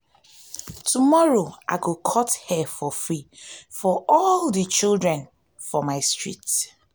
tomorrow i go icut hair for free for all di children for my street.